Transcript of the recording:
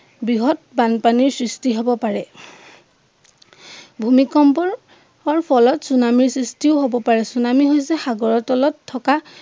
বৃহৎ বানপানীৰ সৃষ্টি হব পাৰে ভূমিকম্পৰ অৰ ফলত চুনামীৰ সৃষ্টিও হব পাৰে চুনামীৰ হৈছে সাগৰৰ তলত থকা